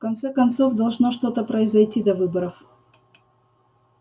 в конце концов должно что-то произойти до выборов